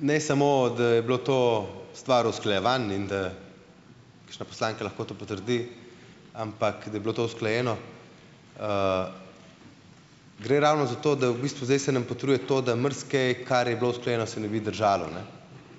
Ne samo da je bilo to stvar usklajevan in da kakšna poslanka lahko to potrdi, ampak da je bilo to usklajeno. Gre ravno za to, da v bistvu zdaj se nam potrjuje to, da marsikaj, kar je bilo usklajeno, se ne bi držalo ne